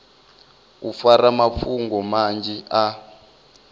u fara mafhungo manzhi a